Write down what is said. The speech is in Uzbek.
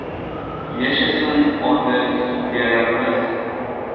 Yashasin odil sudyalarimiz!